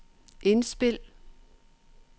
indspil